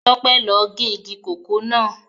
Tope lo ge igi kòkó náà